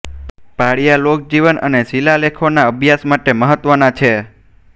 પાળિયા લોકજીવન અને શિલાલેખોના અભ્યાસ માટે મહત્ત્વના છે